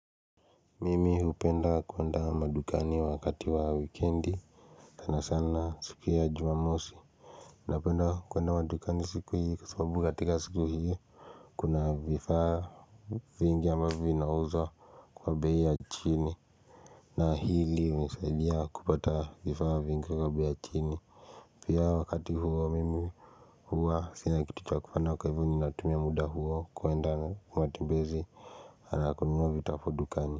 Mimi hupenda kwenda madukani wakati wa weekendi Tana sana siku ya jumamosi Napenda kwenda madukani siku hii kwa sababu katika siku hii Kuna vifaa vingi ambavyo vinauzwa kwa bei ya chini na hili unisaidia kupata vifaa vingi kwa bei ya chini pia wakati huo mimi huwa sina kitu cha kufanya kwa hivo ni natumia muda huo kwenda matembezi na kununua vitafu dukani.